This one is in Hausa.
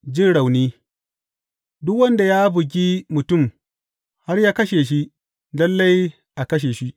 Jin rauni Duk wanda ya bugi mutum har ya kashe shi, lalle a kashe shi.